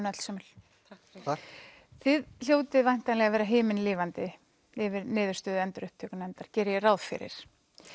öllsömul takk þið hljótið væntanlega að vera himinlifandi yfir niðurstöðu endurupptökunefndar geri ég ráð fyrir